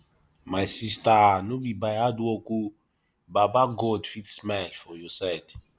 my sista no be by hardwork o baba god fit smile for your side